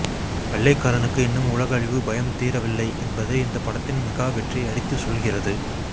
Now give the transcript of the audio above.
வெள்ளைக்காரனுக்கு இன்னும் உலக அழிவு பயம் தீரவில்லை என்பதை இந்த படத்தின் மெகா வெற்றி அடித்த சொல்கிறது